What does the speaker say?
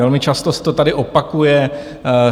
Velmi často se to tady opakuje.